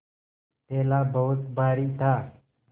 थैला बहुत भारी था